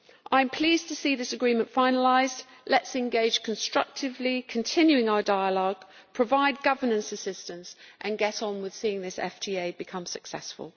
I am pleased to see this agreement finalised. Let us engage constructively continuing our dialogue, provide governance assistance and get on with seeing this FTA become successful.